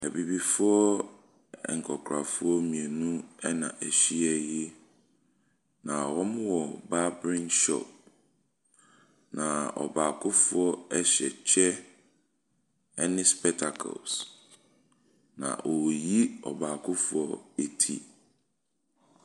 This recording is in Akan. Abibifoɔ nkwakorafoɔ mmienu na ahyia yi. Na wɔwɔ babering shop. Na ɔbaakofoɔ hyɛ kyɛ ne spɛtakles. Na ɔreyi ɔbaafo eti.